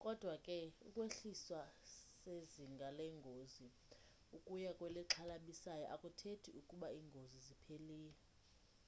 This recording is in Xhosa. kodwa ke ukwehliswa sezinga lengozi ukuya kwelixhalabisayo akuthethi ukuba ingozi iphelile